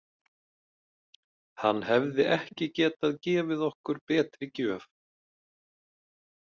Hann hefði ekki getað gefið okkur betri gjöf.